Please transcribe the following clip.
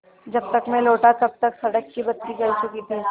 जब तक मैं लौटा तब तक सड़क की बत्ती जल चुकी थी